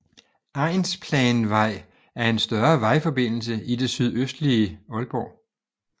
Egnsplanvej er en større vejforbindelse i det sydøstlige Aalborg